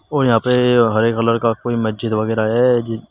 और यहां प ये हरे कलर का कोई मस्जिद वगैरा है।